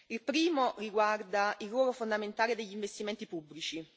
Il primo riguarda il ruolo fondamentale degli investimenti pubblici.